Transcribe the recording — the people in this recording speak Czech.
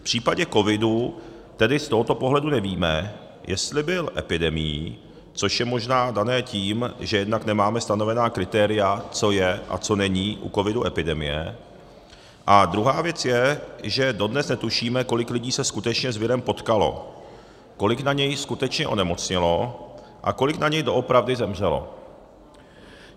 V případě covidu tedy z tohoto pohledu nevíme, jestli byl epidemií, což je možná dané tím, že jednak nemáme stanovená kritéria, co je a co není u covidu epidemie, a druhá věc je, že dodnes netušíme, kolik lidí se skutečně s virem potkalo, kolik na něj skutečně onemocnělo a kolik na něj doopravdy zemřelo.